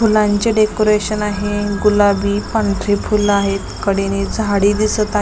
फुलांचे डेकोरेशन आहे गुलाबी पांढरी फूल आहेत कडेने झाडी दिसत आ--